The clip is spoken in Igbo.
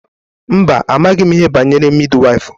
Mba, amaghị m ihe banyere midi waịfụ.